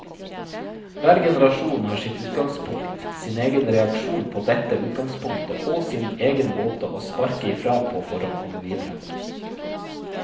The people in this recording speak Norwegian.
Hver generasjon har sitt utgangspunkt, sin egen reaksjon på dette utgangspunktet og sin egen måte å sparke ifra på for å komme videre.